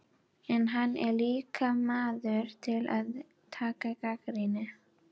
En hann er líka maður til að taka gagnrýni.